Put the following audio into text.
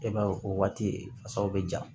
E b'a ye o waati faw bɛ ja